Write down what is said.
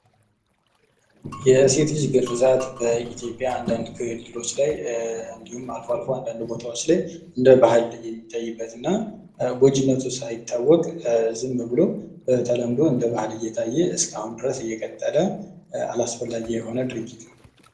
የሴት ልጅ ግርዛት በኢትዮጵያ አንዳንድ ክልሎች ላይ እንዲሁም አልፎ አንዳንድ ቦታዎች ላይ እንደባህል የሚታይበትና ጎጅነቱ ሳይታወቅ ዝም ብሎ በተለምዶ እንደ ባል እየታየ እስካሁን ድረስ እየቀጠለ አላስፈላጊ የሆነ ድርጊት ነው።